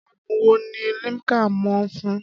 Adùn wo ni Limca mọ̀ fún?